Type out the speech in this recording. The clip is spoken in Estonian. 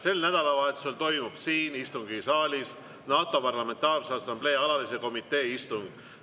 Sel nädalavahetusel toimub siin istungisaalis NATO Parlamentaarse Assamblee alalise komitee istung.